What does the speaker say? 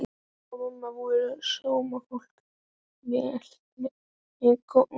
Pabbi og mamma voru sómafólk, velmetnir góðborgarar.